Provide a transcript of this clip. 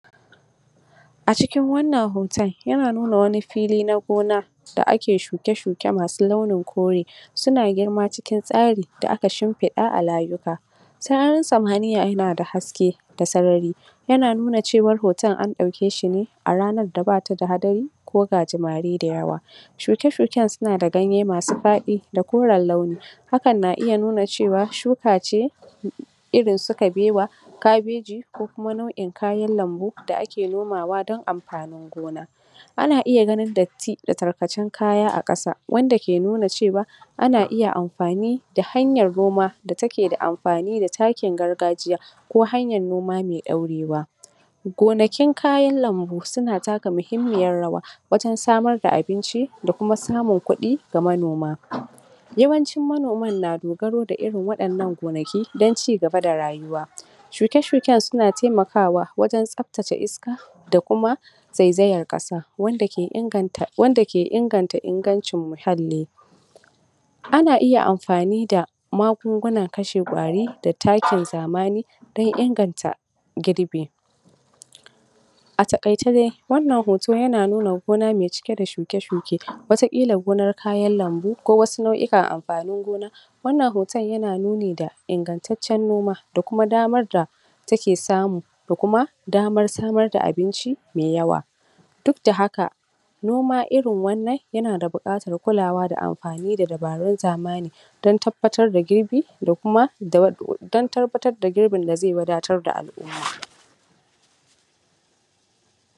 a cikin wannan hoton yana nuna wani fili na gona da ake shuke shuke masu launin kore suna girma cikin tsari da aka shimfiɗa a layuka sararin samaniya yana da haske da sarari yana nuna cewa hoton an ɗauke shi ne a ranan da bata da hadari ko gajimare da yawa shuke shuken suna da ganye masu faɗi da koren launi hakan na iya nuna cewa shuka ce irin su kabewa kabeji ko kuma nau'in kayan lambu da ake nomawa don amfanin gona ana iya ganin datti da tarkacen kaya a ƙasa wanda ke nuna cewa ana iya amfani da hanyan noma da take da amfani da takin gargajiya ko hanyan noma mai ɗaurewa gonakin kayan lambu suna taka mahimmiyar rawa wajen samarda abinci da kuma samun kuɗi ga manoma yawancin manoma na dogaro da irin waɗannan gonaki don cigaba da rayuwa shuke shuken suna taimakawa wajen tsabtace iska da kuma zaizayen ƙasa wanda ke inganta wanda ke inganta ingancin muhalli ana iya amfani da magungunan kashe ƙwari da takin zamani don inganta girbi a taƙaice dai wannan hoto yana nuna gona me cike da shuke shuke wataƙila gurin kayan lambu ko wasu nau'ikan amfanin gona wannan hoton yana nuni da ingataccen numa da kuma damar da take samu da kuma damar samar da abinci mai yawa duk da haka noma irin wannan yana da buƙatar kulawa da amfani da dabarun zamani don tabbatar da girbi da kuma dan tabbatar da girbin da zai wadatar da al'umma